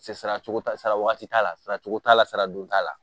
Sara saracogo t'a la saraka t'a la saracogo t'a la sara don t'a la